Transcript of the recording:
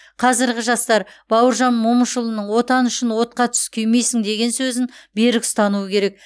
қазіргі жастар бауыржан момышұлының отан үшін отқа түс күймейсің деген сөзін берік ұстануы керек